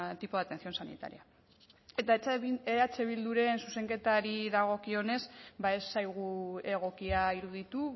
tipo de atención sanitaria eta eh bilduren zuzenketari dagokionez ba ez zaigu egokia iruditu